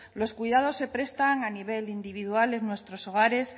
los cuidados se prestan a nivel individual en nuestros hogares